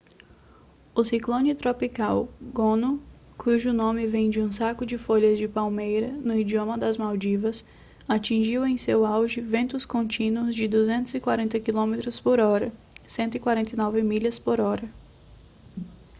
o ciclone tropical gonu cujo nome vem de um saco de folhas de palmeira no idioma das maldivas atingiu em seu auge ventos contínuos de 240 quilômetros por hora 149 milhas por hora